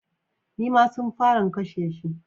Nim'a su fara'n a kashe shi.